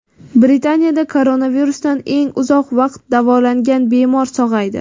Britaniyada koronavirusdan eng uzoq vaqt davolangan bemor sog‘aydi.